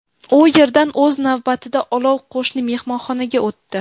U yerdan, o‘z navbatida, olov qo‘shni mehmonxonaga o‘tdi.